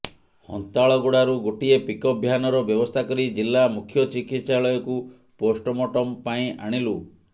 ହନ୍ତାଳଗୁଡାରୁ ଗୋଟିଏ ପିକଅପ୍ ଭ୍ୟାନର ବ୍ୟବସ୍ଥା କରି ଜିଲ୍ଲା ମୁଖ୍ୟ ଚିକିତ୍ସାଳୟକୁ ପୋଷ୍ଟମର୍ଟମ ପାଇଁ ଆଣିଲୁ